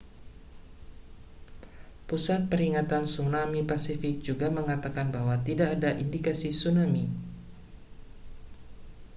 pusat peringatan tsunami pasifik juga mengatakan bahwa tidak ada indikasi tsunami